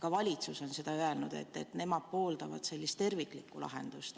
Ka valitsus on seda öelnud, et nemad pooldavad sellist terviklikku lahendust.